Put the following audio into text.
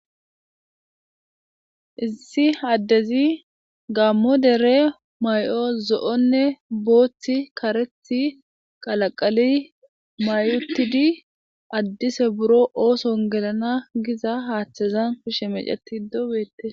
Issi addezi gammo dere may7o zo7onne booththi karethi qalaqali may7utidi addise buro ooson gelana giza haaththazan she meceti dobete.